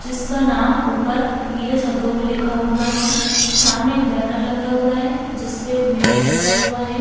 जिसका नाम ऊपर पीले शब्दों में लिखा हुआ है सामने एक बैनर लगा हुआ है जिसपे मेन्यू लिखा हुआ है ।